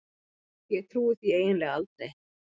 Ég trúi því eiginlega aldrei.